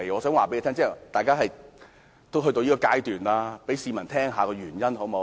反正已經到了這個階段，請讓市民知悉箇中原因，好嗎？